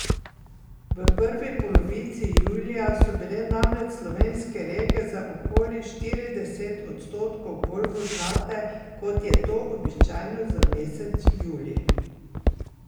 V prvi polovici julija so bile namreč slovenske reke za okoli štirideset odstotkov bolj vodnate kot je to običajno za mesec julij.